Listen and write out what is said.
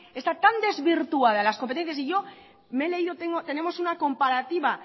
están tan desvirtuadas las competencias y yo me he leído tenemos una comparativa